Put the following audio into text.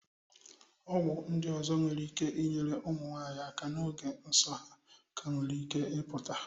Ọgwụ ndị ọzọ nwere ike inyere ụmụnwanyị aka n'oge nsọ ha ka nwere ike ịpụta.